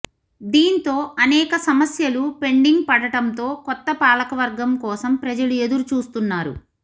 దీంతో అనేక సమస్యలు పెండింగ్ పడటంతో కొత్త పాలకవర్గం కోసం ప్రజలు ఎదురుచూస్తున్నారు